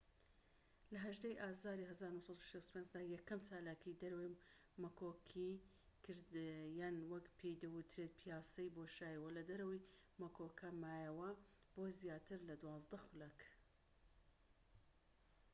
لە ١٨ ی ئازاری ١٩٦٥ دا یەکەم چالاکیی دەرەوەی مەکۆکی کرد یان وەک پێی دەوترێت پیاسەی بۆشایی و لە دەرەوەی مەکۆکەکە مایەوە بۆ زیاتر لە دوازدە خولەك